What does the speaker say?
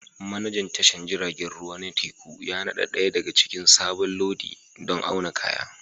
Manajan tashar jiragen ruwa na teku ya nada ɗaya daga cikin sabon lodi don auna kaya